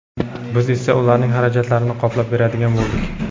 biz esa ularning xarajatlarini qoplab beradigan bo‘ldik.